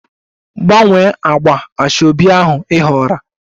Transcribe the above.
Gbanwee agba asoebi ahụ ị họọrọ!